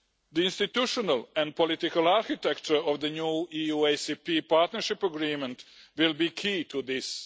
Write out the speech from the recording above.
The institutional and political architecture of the new EU ACP partnership agreement will be key to this.